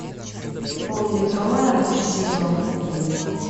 пол литровая мышь сезон один